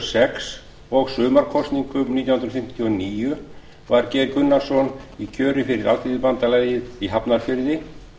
sex og sumarkosningum nítján hundruð fimmtíu og níu var geir gunnarsson í kjöri fyrir alþýðubandalagið í hafnarfirði